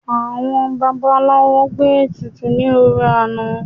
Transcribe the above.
Àwọn babaláwo gbé ètùtù ní òrun àná